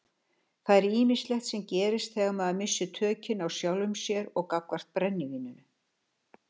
Það er ýmislegt sem gerist þegar maður missir tökin á sjálfum sér gagnvart brennivíninu.